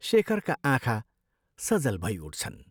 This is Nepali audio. शेखरका आँखा सजल भई उठ्छन्।